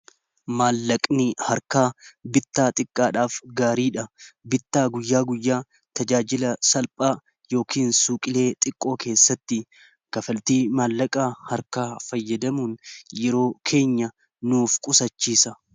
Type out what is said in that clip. Maallaqni harkaa bittaa xiqqaadhaaf gaariidha bittaa guyyaa guyyaa tajaajila salphaa yookin suuqilee xiqqoo keessatti kafaltii maallaqaa harkaa fayyadamuun yeroo keenya nuuf qusachiisa.